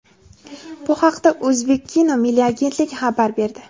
Bu haqda "O‘zbekkino" milliy agentligi xabar berdi.